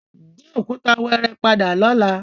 Gbé òkúta wẹ́ẹ́rẹ́ padà lọ́la!